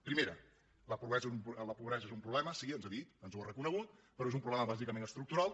primera la pobresa és un problema sí ens ha dit ens ho ha reconegut però és un problema bàsicament estructural